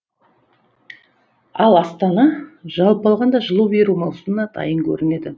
ал астана жалпы алғанда жылу беру маусымына дайын көрінеді